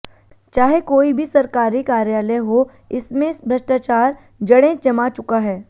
चाहे कोई भी सरकारी कार्यायल हो इसमें भ्रष्टचार जड़ें जमा चुका है